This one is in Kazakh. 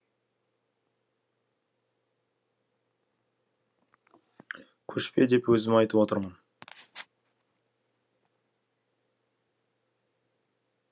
көшпе деп өзім айтып отырмын